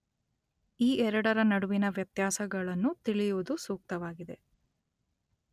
ಈ ಎರಡರ ನಡುವಿನ ವ್ಯತ್ಯಾಸಗಳನ್ನು ತಿಳಿಯುವುದು ಸೂಕ್ತವಾಗಿದೆ.